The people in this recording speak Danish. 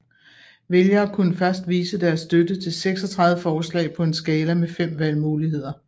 Vælgere kunne først vise deres støtte til 36 forslag på en skala med fem valgmuligheder